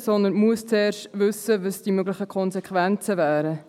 Zuerst müssen wir wissen, welches die möglichen Konsequenzen wären.